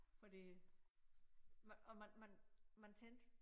Fordi man og man man man tænkte